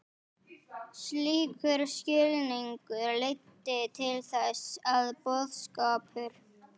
Slíkur skilningur leiddi til þess að boðskapur